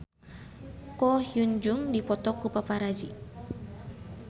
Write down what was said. Ko Hyun Jung dipoto ku paparazi